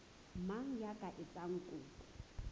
mang ya ka etsang kopo